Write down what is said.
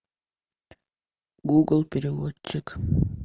гугл переводчик